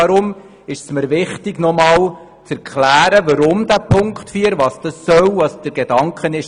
Darum ist es mir wichtig zu erklären, was die Auflage 4 genau meint.